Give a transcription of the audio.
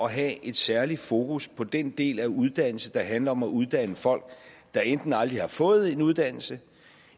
at have et særligt fokus på den del af uddannelserne der handler om at uddanne folk der enten aldrig har fået en uddannelse